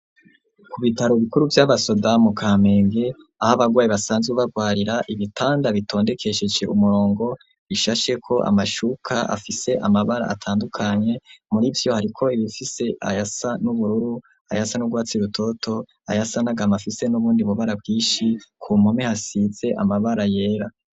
Kubitaro bikuru vyabasoda mu kamenge ahabagwaye basanzwe bagwarira ,ibitanda bitondekesheje umurongo bishasheko amashuka afise amabara atandukanye, murivyo hariko ibifise ayasa n’ubururu, ayasa nugwatsi rutoto, ayasa nagahama afise nubundi bubara bwinshi ,kumpome hasize amabara yera.